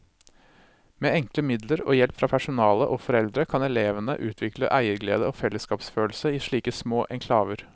Med enkle midler og hjelp fra personale og foreldre kan elevene utvikle eierglede og fellesskapsfølelse i slike små enklaver.